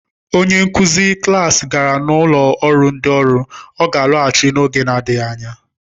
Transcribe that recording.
Onye nkuzi klas gara n'ọnụ ụlọ ndị ọrụ, ọ ga-alaghachi n'oge na-adịghị anya.